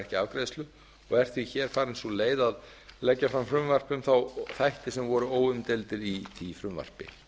ekki afgreiðslu og er því farin sú leið að leggja fram frumvarp um þá þætti sem voru óumdeildir í því frumvarpi